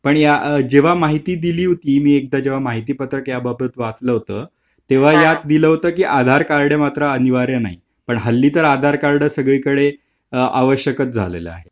जेव्हा माहिती दिली होती. मी जेव्हा एकदा जेव्हा माहिती पत्रक याबाबत वाचलं होत तेव्हा यात दिल होते तेव्हा यात दिल होत कि आधार कार्ड मात्र अनिवार्य नाही .पण हल्ली तर आधार कार्ड सगळीकडे आवश्यक झालेलं आहे.